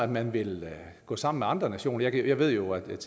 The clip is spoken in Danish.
man vil gå sammen med andre nationer jeg ved jo at blandt